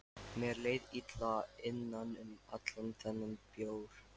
Mér leið illa innan um allan þennan bjór.